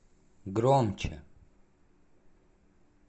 громче